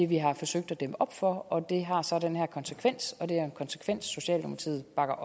vi har forsøgt at dæmme op for og det har så den her konsekvens og det er en konsekvens socialdemokratiet bakker